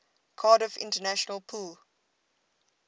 cardiff international pool